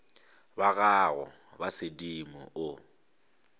ba gago ba sedimo o